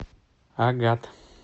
агат